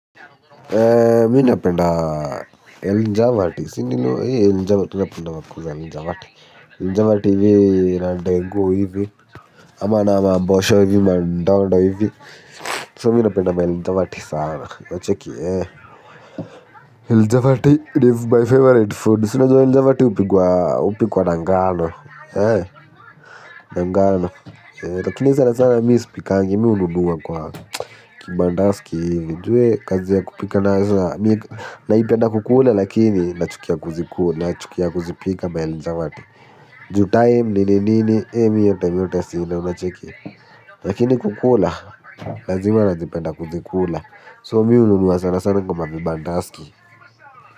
Mi na penda El Njavati. Si nino El Njavati, tu na penda wakusa El Njavati. El Njavati vii nandego hivi, ama nama mbosho vii mandondo hivi. So mi na penda El Njavati sana. El Njavati live by favorite food. Si unajua El Njavati hupikwa na ngano. Hee ngano. Lakini sana sana mi sipikangi, mi ununuwa kwa. Kibandaski hivi, ju we kazi ya kupika nayo sa, naipenda kukula lakini, nachukia kuziku, nachukia kuzipika maelijawati. Ju time nini nini, eh miyote miyote sila unachiki. Lakini kukula, lazima nazipenda kuzikula, so mihunua sanasana kwa mabibandaski.